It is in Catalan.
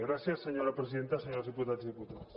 gràcies senyora presidenta senyors diputats i diputades